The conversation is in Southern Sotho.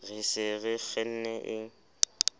re se re kgenne e